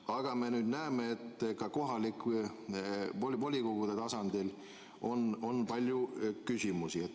Aga nüüd me näeme, et ka kohalike volikogude tasandil on palju küsimusi.